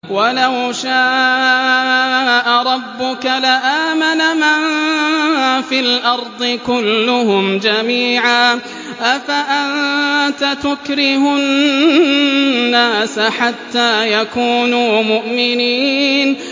وَلَوْ شَاءَ رَبُّكَ لَآمَنَ مَن فِي الْأَرْضِ كُلُّهُمْ جَمِيعًا ۚ أَفَأَنتَ تُكْرِهُ النَّاسَ حَتَّىٰ يَكُونُوا مُؤْمِنِينَ